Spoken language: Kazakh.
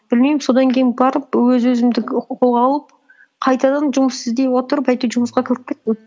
білмеймін содан кейін барып өз өзімді қолға алып қайтадан жұмыс іздей отырып әйтеуір жұмысқа кіріп кеттім